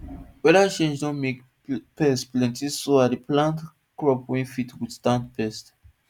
weather change don make pest plentyso i dey plant crops wey fit withstand pests